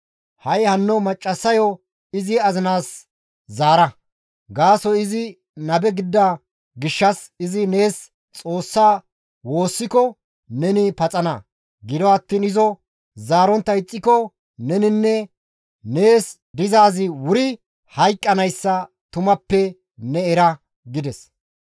Ha7i hanno maccassayo izi azinaas zaara; gaasoykka izi nabe gidida gishshas izi nees Xoossaa woossiko neni paxana; gido attiin ne izo zaarontta ixxiko neninne nees dizaazi wuri hayqqanayssa tumappe ne era» gides.